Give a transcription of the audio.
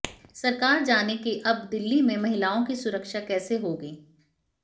सरकार जाने कि अब दिल्ली में महिलाओं की सुरक्षा कैसे होगी